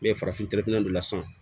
Ne ye farafin dɔ la sisan